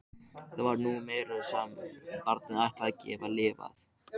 Það var nú meira sem barnið ætlaði að geta lifað.